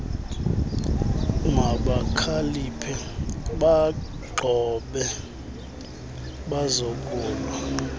mabakhaliphe baaxhobe bazokulwa